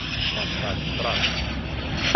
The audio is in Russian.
поставь транс